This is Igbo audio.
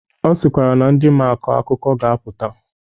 Ọ sịkwara na ndi maa akọ akụkọ ga-apụta.